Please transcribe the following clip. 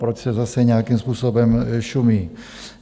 Proč se zase nějakým způsobem šumí?